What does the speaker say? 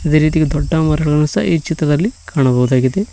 ಅದೇ ರೀತಿ ದೊಡ್ಡ ಮರಗಳನ್ನು ಸಹ ಈ ಚಿತ್ರದಲ್ಲಿ ಕಾಡಬಹುದಾಗಿದೆ.